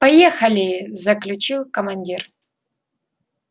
поехали заключил командир